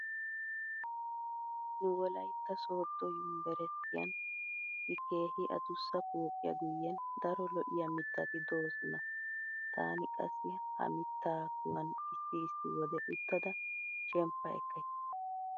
Nu wolaytta sooddo yumbberesttiyan issi keehi adussa pooqiya guyyen daro lo''iya mittati doosona. Taani qassi ha mitta kuwan issi issi wode uttada shemppa ekkays.